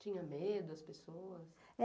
Tinha medo as pessoas?